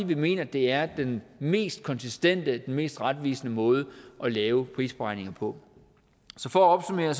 vi mener det er den mest konsistente den mest retvisende måde at lave prisberegninger på så for at opsummere